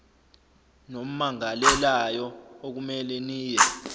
nommangalelayo okumele niye